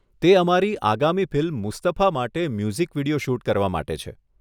તે અમારી આગામી ફિલ્મ 'મુસ્તફા' માટે મ્યુઝિક વીડિયો શૂટ કરવા માટે છે.